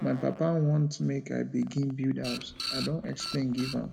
my papa want make i begin build house i don explain give am